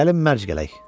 Gəlin mərc gələk.